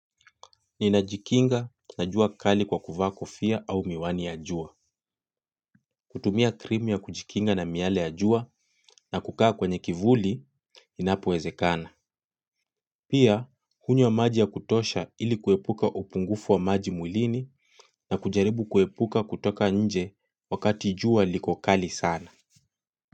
Ninajikinga na jua kali kwa kuvaa kofia au miwani ya jua. Kutumia krimu ya kujikinga na miale ya jua na kukaa kwenye kivuli inapowezekana. Pia, kunywa maji ya kutosha ili kuepuka upungufu wa maji mwilini na kujaribu kuepuka kutoka nje wakati jua liko kali sana.